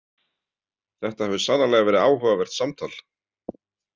Þetta hefur sannarlega verið áhugavert samtal.